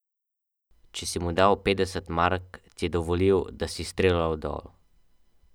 Če si mu dal petdeset mark, ti je dovolil, da si streljal dol ...